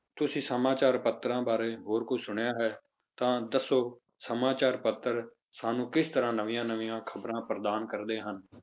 ਤੁਸੀਂ ਸਮਾਚਾਰ ਪੱਤਰਾਂ ਬਾਰੇ ਹੋਰ ਕੁਛ ਸੁਣਿਆ ਹੈ ਤਾਂ ਦੱਸੋ, ਸਮਾਚਾਰ ਪੱਤਰ ਸਾਨੂੰ ਕਿਸ ਤਰ੍ਹਾਂ ਨਵੀਆਂ ਨਵੀਆਂ ਖ਼ਬਰਾਂ ਪ੍ਰਦਾਨ ਕਰਦੇ ਹਨ।